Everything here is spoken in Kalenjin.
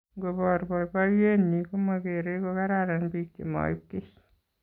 Ngobor boiboiyenyi komageere kogararan biik chemaib kiiy